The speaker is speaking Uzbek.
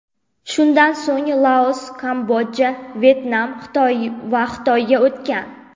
Shundan so‘ng Laos, Kamboja, Vyetnam va Xitoyga o‘tgan.